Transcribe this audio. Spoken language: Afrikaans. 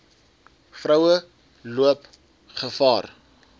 vroue loop gevaar